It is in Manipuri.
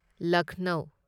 ꯂꯛꯅꯧ